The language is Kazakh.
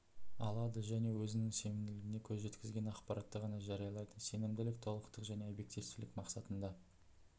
алады және өзі сенімділігіне көз жеткізген ақпаратты ғана жариялайды сенімділік толықтық және объективтілік мақсатында